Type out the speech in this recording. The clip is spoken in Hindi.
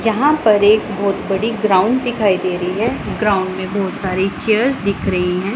यहां पर एक बहुत बड़ी ग्राउंड दिखाई दे रही है ग्राउंड में बहुत सारी चेयर्स दिख रही हैं।